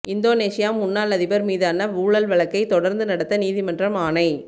இந்தோனேசிய முன்னாள் அதிபர் மீதான ஊழல் வழக்கை தொடர்ந்து நடத்த நீதிமன்றம் ஆணை